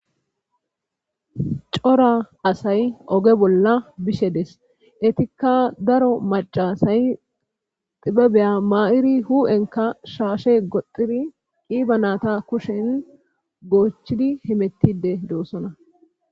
cora asay oge bolla bishe des etikka daro macasay xibebeya ma7iri hu7enka shaashe goxxiri qiiba naata kushen goochidi himettide doossona